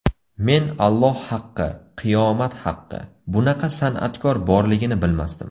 Men Alloh haqqi, qiyomat haqqi, bunaqa san’atkor borligini bilmasdim.